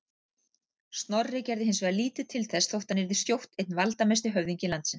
Snorri gerði hins vegar lítið til þess þótt hann yrði skjótt einn valdamesti höfðingi landsins.